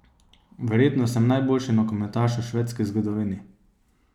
Verjetno sem najboljši nogometaš v švedski zgodovini.